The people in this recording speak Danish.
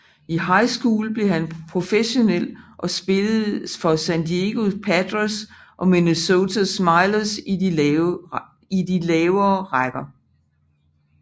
Efter high school blev han professionel og spillede for San Diego Padres og Minneapolis Millers i de lavere rækker